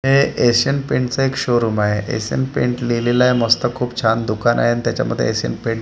हे एशियन पेंटचं एक शोरूम आहे एशियन पेंट लिहिलेलं आहे मस्त खूप छान दुकान आहे आणि त्याच्यामध्ये एशियन पेंट --